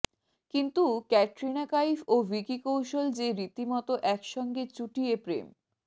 কিন্তু ক্যাটরিনা কাইফ ও ভিকি কৌশল যে রীতিমতো একসঙ্গে চুটিয়ে প্রেম